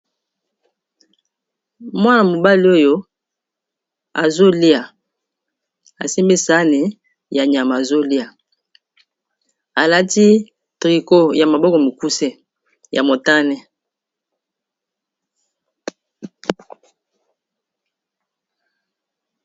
Mwana mobali oyo azolia asimisane ya nyama azolia alati trico ya maboko mikuse ya motane